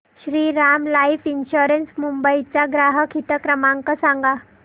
Shriram Life Insurance Mumbai चा ग्राहक हित क्रमांक सांगा